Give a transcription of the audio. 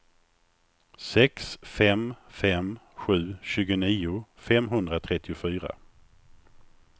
sex fem fem sju tjugonio femhundratrettiofyra